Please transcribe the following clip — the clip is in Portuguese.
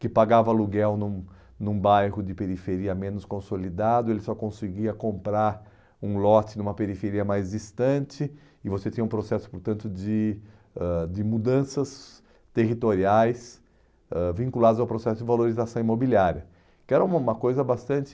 que pagava aluguel num num bairro de periferia menos consolidado, ele só conseguia comprar um lote numa periferia mais distante e você tinha um processo, portanto, de ãh de mudanças territoriais ãh vinculadas ao processo de valorização imobiliária, que era uma uma coisa bastante...